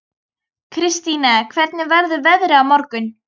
Kristine, hvernig verður veðrið á morgun?